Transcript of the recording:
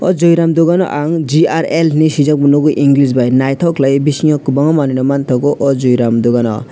joi ram dugano ang GRL henei swijak bo nugo english bi nythok khelaioi bisingo kwbanga manei rok manthogo aw joi ram dogan o.